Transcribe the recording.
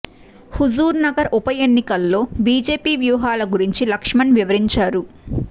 హుజూర్ నగర్ ఉప ఎన్నికల్లో బీజేపీ వ్యూహాల గురించి లక్ష్మణ్ వివరించారు